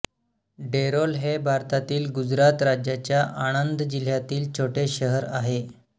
डेरोल हे भारतातील गुजरात राज्याच्या आणंद जिल्ह्यातील छोटे शहर आहे